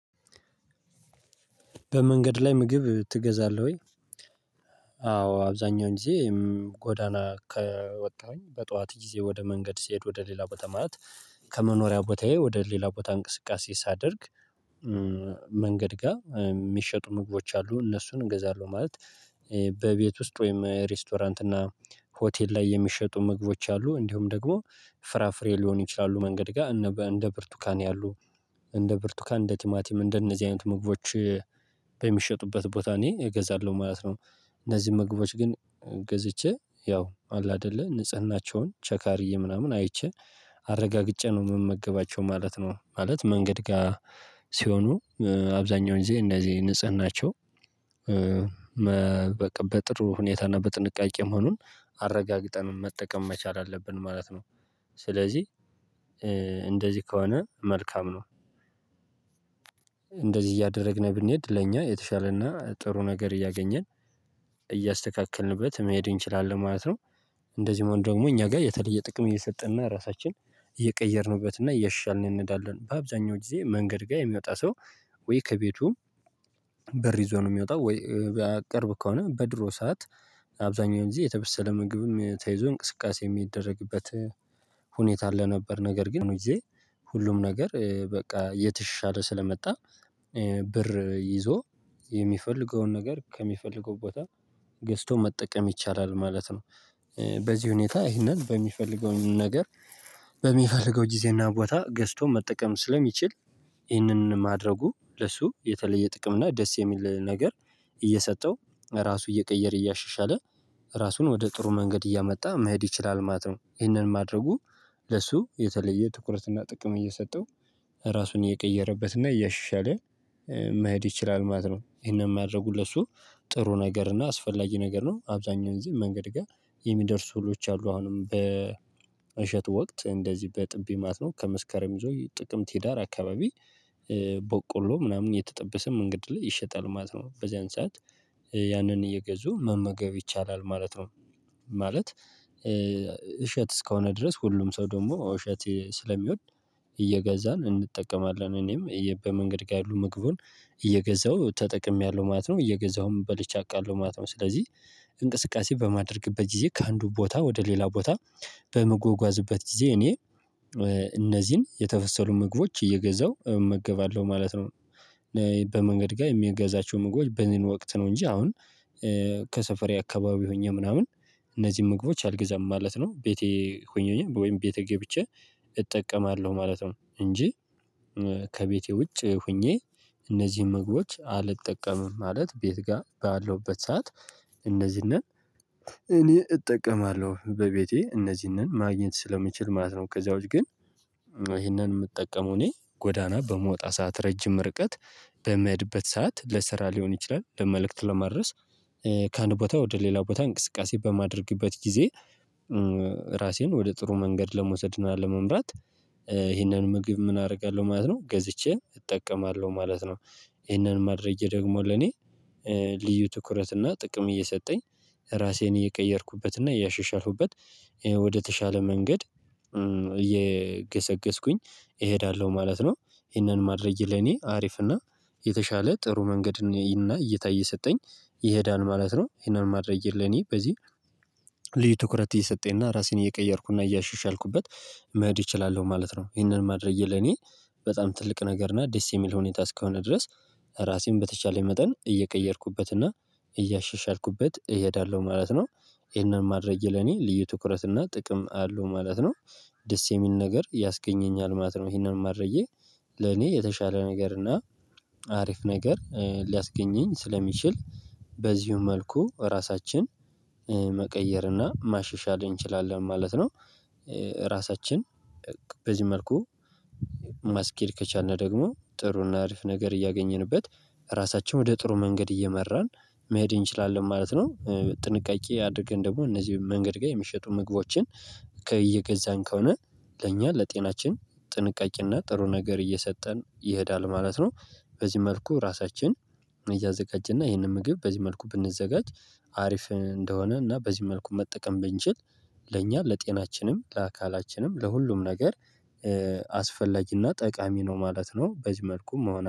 በመንገድ ላይ ምግብ ትገዛለህ ወይ? አዎ አብዛኛውን ጊዜ ጎዳና ከወጣሁኝ በጧት ጊዜ ወደ መንገድ ሲሄድ ወደ ሌላ ቦታ ማለት ከመኖሪያ ቦታዬ ወደ ሌላ ቦታ እንቅስቃሴ ሳደርግ መንገድ ጋር የሚሸጡ ምግቦች አሉ እነሱን እንገዛለሁ። ማለት በቤት ውስጥ ወይም ሬስቶራንት እና ሆቴል ላይ የሚሸጡ ምግቦች አሉ እንዲሁም ደግሞ ፍራፍሬ ሊሆን ይችላሉ መንገድ ጋር እንደ ብርቱካን ያሉ እንደ ብርቱካ እንደ ቲማቲም እንደነዚህ አይነት ምግቦች በሚሸጡበት ቦታ እኔ እገዛለሁ ማለት ነው። እነዚህን ምግቦች ግን ገዝቼ ያው አለ አይደለ ንጽህናቸውን ቸክ አድርጌ ምናምን አይቼ አረጋግጬ ነው የምመገባቸው ማለት ነው። ማለት መንገድ ጋር ሲሆኑ አብዛኛውን ጊዜ እንደዚህ ንጽህናቸው በቃ በጥሩ ሁኔታና በጥንቃቄ መሆኑን አረጋግጠን መጠቀም መቻል አለብን ማለት ነው። ስለዚህ እንደዚህ ከሆነ መልካም ነው። እንደዚህ እያደረግን ብንሄድ ለእኛ የተሻለና ጥሩ ነገር እያገኘን እያስተካከልንበት መሄድ እንችላለን ማለት ነው። እንደዚህ መሆን ደግሞ እኛ ጋር የተለየ ጥቅም እየሰጠንና ራሳችን እየቀየርንበትና እያሻሻልን እንሄዳለን። በአብዛኛው ጊዜ መንገድ ጋር የሚወጣ ሰው ወይ ከቤቱም ይዞ ነው የሚወጣው ወይ ቅርብ ከሆነ በድሮ ሰዓት አብዛኛው እንግዲህ የተበሰለ ምግብም ተይዞ እንቅስቃሴ የሚደረግበት ሁኔታ አለ ነበር። ነገር ግን ሁሉም ነገር በቃ የተሻለ ስለመጣ ብር ይዞ የሚፈልገውን ነገር ከሚፈልገው ቦታ ገዝቶ መጠቀም ይቻላል ማለት ነው። በዚህ ሁኔታ ይህንን በሚፈልገው ነገር በሚፈልገው ጊዜና ቦታ ገዝቶ መጠቀም ስለሚችል ይህንን ማድረጉ ለሱ የተለየ ጥቅም እና ደስ የሚል ነገር እየሰጠው ለራሱ እየቀየረ እያሻሻለ ራሱን ወደ ጥሩ መንገድ እያመጣ መሄድ ይችላል ማለት ነው። ይህንን ማድረጉ ለሱ የተለየ ትኩረትና ጥቅም እየሚሰጠው ራሱን እየቀየረበትና እያሻሻለ መሄድ ይችላል ማለት ነው። ይሄን የማደርጉት ለሱ ጥሩ ነገር እና አስፈላጊ ነገር ነው። አብዛኛው እዚህ መንገድ ጋር የሚደርሱ እህሎች አሉ አሁንም በ እሸቱ ወቅት እንደዚህ በጥቢ ማለት ነው ከመስከረም ይዞ ጥቅምት ህዳር አካባቢ ቦቆሎ ምናምን የተጠበሰም መንገድ ላይ ይሸጣል ማለት ነው። በዚያን ሰዓት ያንን እየገዙ መመገብ ይቻላል ማለት ነው። ማለት እሸት እስከሆነ ድረስ ሁሉም ሰው ደግሞ እሸት ስለሚወድ እየገዛን እንጠቀማለን። እኔም በመንገድ ጋር ያሉ ምግቡን እየገዛሁ ተጠቅሜያለሁ ማለት ነው እየገዛሁም በልቼ አውቃለሁ ማለት ነው። ስለዚህ እንቅስቃሴ በማድረግበት ጊዜ ከአንዱ ቦታ ወደ ሌላ ቦታ በመጓጓዝበት ጊዜ እኔ እነዚህን የተበሰሉ ምግቦች እየገዛው እመገባለሁ ማለት ነው። በመንገድ ጋር የሚገዛቸው ምግቦች በምን ወቅት ነው እንጂ አሁን ከሰፈሬ አካባቢ ሆኜ ምናምን እነዚህን ምግቦች አልግዛም ማለት ነው። ቤቴ ሆኜ ሆኜ ወይም ቤቴ ገብቼ እጠቀማለሁ ማለት ነው። እንጂ ከቤቴ ውጭ ሆኜ እነዚህን ምግቦች አልጠቀምም ማለት ቤት ጋር ባለውበት ሰዓት እነዚህን እኔ እጠቀማለሁ በቤቴ እነዚህንን ማግኘት ስለምችል ማለት ነው። ከዚያ ውጭ ግን ይሄንን የምጠቀመው እኔ ጎዳና በመውጣት ረጅም ርቀት በምሄድበት ሰዓት ለስራ ሊሆን ይችላል ለመልእክት ለመድረስ ከአንድ ቦታ ወደ ሌላ ቦታ እንቅስቃሴ በማደርግበት ጊዜ ራሴን ወደ ጥሩ መንገድ ለመውሰድ ነው። ለመምራት ይህንን ምግብ ምን አደርጋለሁ ማለት ነው ገዝቼ እጠቀማለሁ ማለት ነው። ይሄንን ማድረጌ ደግሞ ለኔ ልዩ ትኩረት እና ጥቅም እየሰጠኝ ራሴን እየቀየርኩበት እና እያሸሻሁበት ወደተሻለ መንገድ እየገሰገስኩኝ እሄዳለሁ ማለት ነው። ይሄንን ማድረጌ ለኔ አሪፍ እና የተሻለ ጥሩ መንገድ እና እይታ እየሰጠኝ ይሄዳን ማለት ነው። ይሄንን ማድረግ ለኔ በዚህ ልዩ ትኩረት እየሰጠኝና ራሴን እየቀየርኩና እያሻሻልኩበት መሄድ እችላለሁ ማለት ነው። ይሄንን ማድረጌ ለኔ በጣም ትልቅ ነገር እና ደስ የሚል ሁኔታ እስከሆነ ድረስ ራሴን በተቻለኝ መጠን እየቀየርኩበትና እያሻሻልኩበት እሄዳለሁ ማለት ነው። ይሄንን ማድረጌ ለኔ ልዩ ትኩረት እና ጥቅም አለው ማለት ነው። ደስ የሚል ነገር ያስገኘኛል ማለት ነው። ይሄንን ማረዬ ለኔ የተሻለ ነገር እና አሪፍ ነገር ሊያስገኘኝ ስለሚችል በዚሁ መልኩ ራሳችን መቀየር እና ማሸሻል እንችላለን ማለት ነው። ራሳችን በዚህ መልኩ ማስኬድ ከቻልን ደግሞ ጥሩን አሪፍ ነገር እያገኘንበት ራሳቸውን ወደ ጥሩ መንገድ እየመራን መሄድ እንችላለን ማለት ነው። ጥንቃቄ አድርገን ደግሞ እነዚህ መንገድ ጋር የሚሸጡ ምግቦችን ከየገዛን ከሆነ ለእኛ ለጤናችን ጥንቃቄና ጥሩ ነገር እየሰጠን ይሄዳል ማለት ነው። በዚህ መልኩ ራሳችን እያዘጋጀና ይሄንን ምግብ በዚህ መልኩ ብንዘጋጅ አሪፍ እንደሆነ እና በዚህ መልኩ መጠቀም ብንችል ለእኛ ለጤናችንም ለአካላችንም ለሁሉም ነገር አስፈላጊና ጠቃሚ ነው ማለት ነው። በዚህ መልኩ መሆን